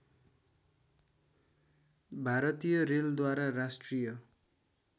भारतीय रेलद्वारा राष्ट्रिय